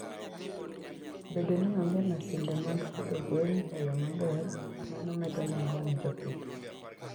Bedo ni onge masinde mag pidho gwen e yo maber, mano medo nengo ne jopith.